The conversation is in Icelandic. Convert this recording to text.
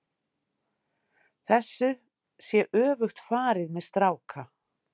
Þessu sé öfugt farið með stráka.